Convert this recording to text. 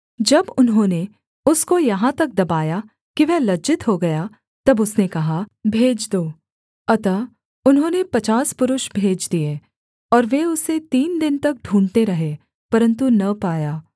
जब उन्होंने उसको यहाँ तक दबाया कि वह लज्जित हो गया तब उसने कहा भेज दो अतः उन्होंने पचास पुरुष भेज दिए और वे उसे तीन दिन तक ढूँढ़ते रहे परन्तु न पाया